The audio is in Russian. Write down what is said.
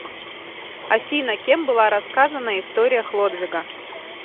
афина кем была рассказана история хлодвига